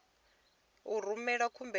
ḓo u rumela khumbelo kha